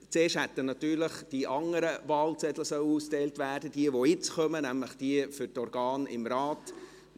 Zuerst hätten natürlich die anderen Wahlzettel ausgeteilt werden sollen; diejenigen, die jetzt kommen, nämlich diejenigen für die Organe des Rates.